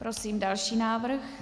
Prosím další návrh.